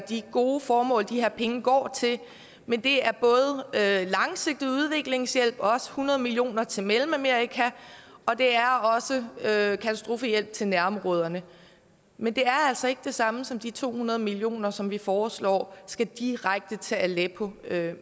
de gode formål de her penge går til men det er både langsigtet udviklingshjælp også hundrede millioner til mellemamerika og det er også katastrofehjælp til nærområderne men det er altså ikke det samme som de to hundrede millioner som vi foreslår skal direkte til aleppo